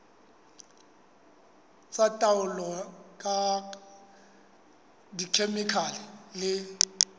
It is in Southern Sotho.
tsa taolo ka dikhemikhale le